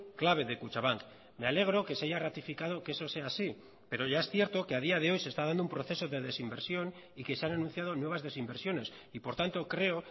clave de kutxabank me alegro que se haya ratificado que eso sea así pero ya es cierto que a día de hoy se está dando un proceso de desinversión y que se han anunciado nuevas desinversiones y por tanto creo